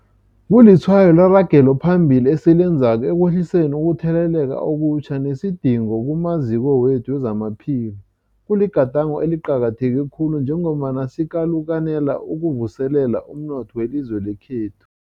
Kulitshwayo leragelo phambili esilenzako ekwehliseni ukutheleleka okutjha nesidingo kumaziko wethu wezamaphilo. Kuligadango eliqakatheke khulu njengombana sikalukanela ukuvuselela umnotho welizwe lekhethu.